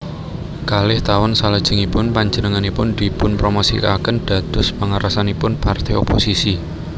Kalih taun salajengipun panjenenganipun dipunpromosikaken dados pangarsanipun parté oposisi